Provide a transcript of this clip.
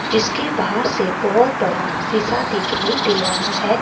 जिसके बाहर से बहुत बड़ा शीशा दिखाई दे रहा है।